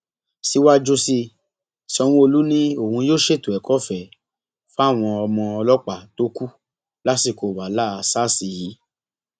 síwájú sí i sanwóolu ni òun yóò ṣètò ẹkọọfẹ fáwọn ọmọ ọlọpàá tó kù lásìkò wàhálà sars yìí